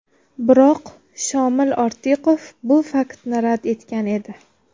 Biroq Shomil Ortiqov bu faktni rad etgan edi.